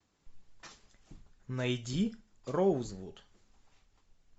найди роузвуд